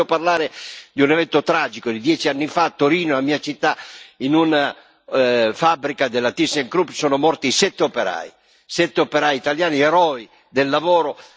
Ma io vi voglio parlare di un evento tragico di dieci anni fa a Torino, la mia città in una fabbrica della ThyssenKrupp sono morti sette operai, sette operai italiani, eroi del lavoro.